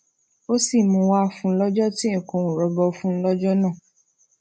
ó sì mú un wá fún un lójó tí nǹkan ò rọgbọ fún un lójó náà